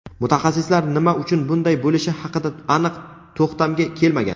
Mutaxassislar nima uchun bunday bo‘lishi haqida aniq to‘xtamga kelmagan.